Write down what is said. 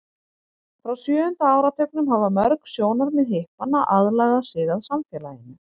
frá sjöunda áratugnum hafa mörg sjónarmið hippanna aðlagað sig að samfélaginu